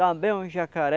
Também os jacaré.